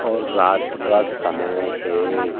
और रात का समय है।